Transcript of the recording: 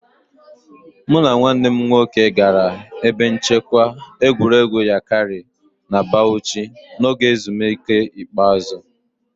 Mụ na nwanne m nwoke gara ebe nchekwa egwuregwu Yankari na Bauchi n'oge ezumike ikpeazụ